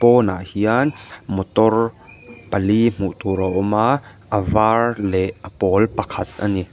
pawn ah hian motor pali hmuh tur a awm a a var leh a pawl pakhat ani.